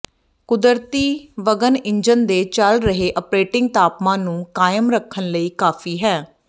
ਕੁਦਰਤੀ ਵਗਣ ਇੰਜਨ ਦੇ ਚੱਲ ਰਹੇ ਆਪਰੇਟਿੰਗ ਤਾਪਮਾਨ ਨੂੰ ਕਾਇਮ ਰੱਖਣ ਲਈ ਕਾਫੀ ਹੈ